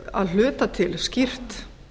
að hluta til skýrt